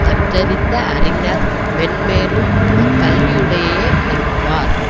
கற்றறிந்த அறிஞர் மேன்மேலும் அக் கல்விவுடயையே விரும்புவார்